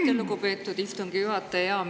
Aitäh, lugupeetud istungi juhataja!